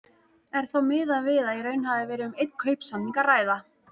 Er þá miðað við að í raun hafi verið um einn kaupsamning að ræða.